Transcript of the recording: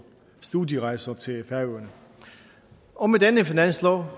studierejser til færøerne og med denne finanslov